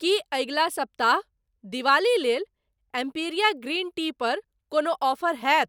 की अगिला सप्ताह दिवाली लेल एम्पिरिया ग्रीन टी पर कोनो ऑफर हैत?